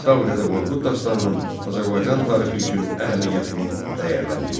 Kitabi-Dədə Qorqud dastanının Azərbaycan tarixi üçün əhəmiyyətini dəyərləndir.